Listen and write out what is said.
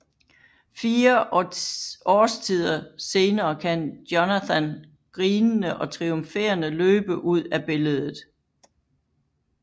Fire årstider senere kan Jonathan grinende og triumferende løbe ud af billedet